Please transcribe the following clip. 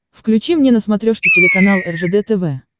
включи мне на смотрешке телеканал ржд тв